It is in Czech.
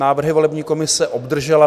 Návrhy volební komise obdržela.